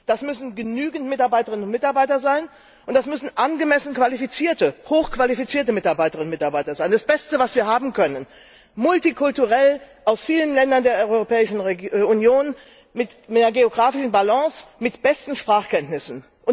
Das müssen genügend Mitarbeiterinnen und Mitarbeiter sein, und das müssen angemessen qualifizierte, hochqualifizierte Mitarbeiterinnen und Mitarbeiter sein. Die Besten, die wir haben können! Multikulturell, aus vielen Ländern der Europäischen Union, mit mehr geografischer Ausgewogenheit, mit besten Sprachkenntnissen.